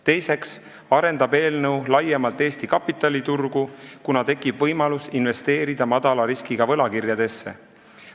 Teiseks arendab eelnõu Eesti kapitaliturgu laiemalt, kuna tekib võimalus investeerida madala riskiga võlakirjadesse.